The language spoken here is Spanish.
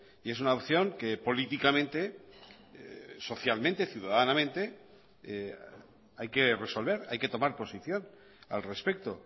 y es una opción que políticamente socialmente ciudadanamente hay que resolver hay que tomar posición al respecto